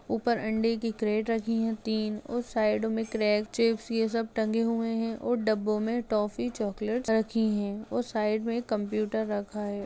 ऊपर अंडे की क्रेट रखी है तीन और साइड क्रैक्स चिप्स ये सब टंगे हुए है और डब्बों मे टॉफ़ी चॉकलेट्स रखी है और साइड में कंप्यूटर रखा है।